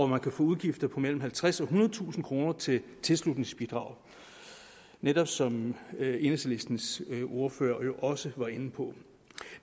man kan få udgifter på mellem halvtredstusind kroner til tilslutningsbidrag netop som enhedslistens ordfører også var inde på